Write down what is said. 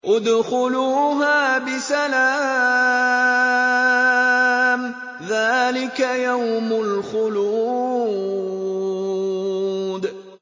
ادْخُلُوهَا بِسَلَامٍ ۖ ذَٰلِكَ يَوْمُ الْخُلُودِ